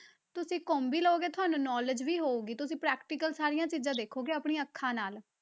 ਤੁਸੀਂ ਘੁੰਮ ਵੀ ਲਓਗੇ ਤੁਹਾਨੂੰ knowledge ਵੀ ਹੋਊਗੀ, ਤੁਸੀਂ practical ਸਾਰੀਆਂ ਚੀਜ਼ਾਂ ਦੇਖੋਗੇ ਆਪਣੀਆਂ ਅੱਖਾਂ ਨਾਲ।